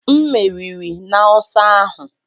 M meriri n'ọsọ ahụ